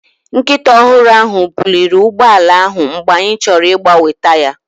Nkịta ọhụrụ ahụ buliri ụgbọ ala ahụ mgbe anyị chọrọ ịgbanwe taya.